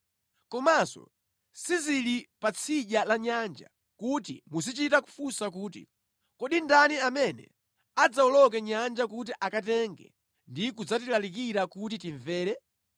Komanso sizili pa tsidya la nyanja, kuti muzichita kufunsa kuti, “Kodi ndani amene adzawoloke nyanja kuti akatenge ndi kudzatilalikira kuti timvere?”